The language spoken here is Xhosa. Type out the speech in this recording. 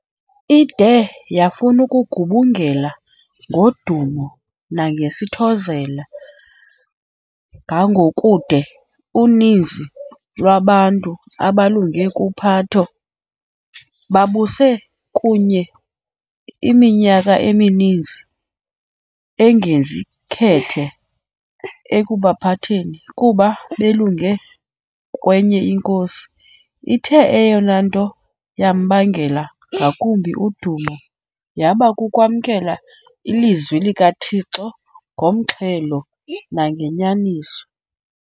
Ide yafun'ukugubungela ngodumo nangesithozela, ngangokude uninzi lwabantu, abalunge kuPhato, babuse kuye iminyaka emininzi, engenzi khethe ekubaphatheni kuba belunge kwenye inkosi. Ithe eyona nto yambangela ngakumbi udumo yaba kukwamkela ilizwi likaThixo ngomxhelo nangenyaniso.